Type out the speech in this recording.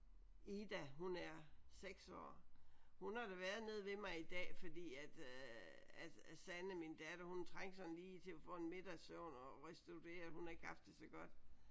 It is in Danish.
Ida hun er 6 år. Hun har da været nede ved mig i dag fordi at øh at Sanne min datter hun trængte sådan lige til at få en middagssøvn og restituere hun har ikke haft det så godt